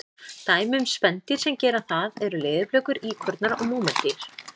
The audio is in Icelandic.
Dæmi um spendýr sem gera það eru leðurblökur, íkornar og múrmeldýr.